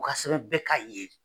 U ka sɛbɛn bɛɛ k'a ye